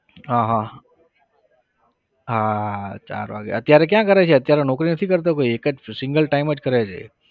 હા હા, હા ચાર વાગ્યા અત્યારે ક્યાં કરે છે? અત્યારે નોકરી નથી કરતો કોઈ એક જ single time કરે છે.